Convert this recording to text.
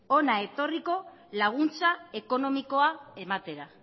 hona etorriko laguntza ekonomikoa ematera